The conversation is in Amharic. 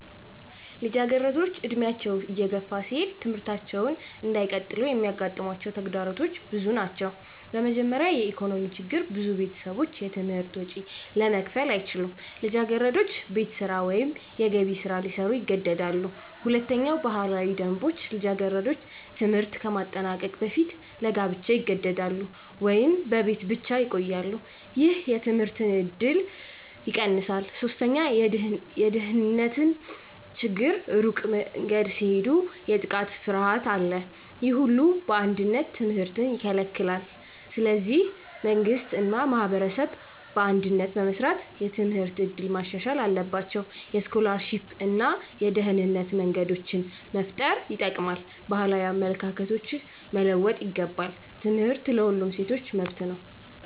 ልጃገረዶች ዕድሜያቸው እየገፋ ሲሄድ ትምህርታቸውን እንዳይቀጥሉ የሚያጋጥሟቸው ተግዳሮቶች ብዙ ናቸው። በመጀመሪያ የኢኮኖሚ ችግር ብዙ ቤተሰቦች የትምህርት ወጪ ለመክፈል አይችሉም። ልጃገረዶች ቤት ስራ ወይም የገቢ ስራ ሊሰሩ ይገደዳሉ። ሁለተኛ ባህላዊ ደንቦች ልጃገረዶች ትምህርት ከማጠናቀቅ በፊት ለጋብቻ ይገደዳሉ ወይም በቤት ብቻ ይቆያሉ። ይህ የትምህርት እድልን ይቀንሳል። ሶስተኛ የደህንነት ችግር ሩቅ መንገድ ሲሄዱ የጥቃት ፍርሃት አለ። ይህ ሁሉ በአንድነት ትምህርትን ይከለክላል። ስለዚህ መንግሥት እና ማህበረሰብ በአንድነት በመስራት የትምህርት እድል ማሻሻል አለባቸው። የስኮላርሺፕ እና የደህንነት መንገዶች መፍጠር ይጠቅማል። ባህላዊ አመለካከቶች መለወጥ ይገባል። ትምህርት ለሁሉም ሴቶች መብት ነው።